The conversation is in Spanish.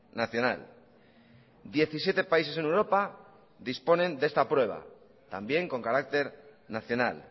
nacional diecisiete países en europa disponen de esta prueba también con carácter nacional